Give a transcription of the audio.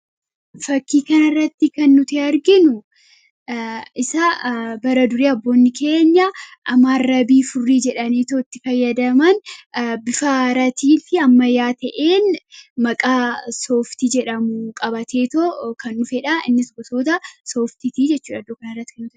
fakkii kan irratti kan nuti arginu isa bara durii abboonni keenya amaarrabii furrii jedhanii tootti fayyadaman bifaaratii fi ammayaa ta'een maqaa sooftii jedhamu qabatee too kan dhufedha innis gotoota sooftitii jechuudha kanrratti kan nuti arginu.